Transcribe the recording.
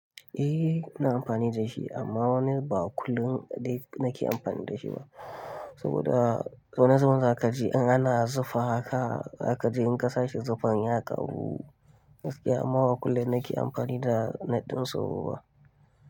Eh, ina amfani da shi amma wani ba kullum dai nake amfani da shi ba. Saboda wani zubin zaka ji in ana zufa haka, zaka ji in kasa shi zufan ya ƙaru, gaskiya amma ba kullun nake amfani da net ɗin sauro ba.